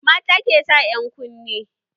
Mata ke sa ƴan kunne